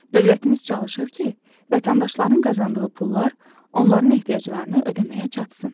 Dövlətimiz çalışır ki, vətəndaşların qazandığı pullar onların ehtiyaclarını ödəməyə çatsın.